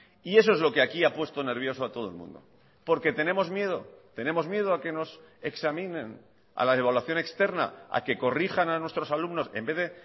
y eso es lo que aquí ha puesto nervioso a todo el mundo porque tenemos miedo tenemos miedo a que nos examinen a la evaluación externa a que corrijan a nuestros alumnos en vez de